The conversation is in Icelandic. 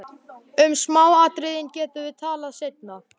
Um smáatriðin getum við talað seinna.